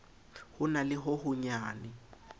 ho na le ho honyane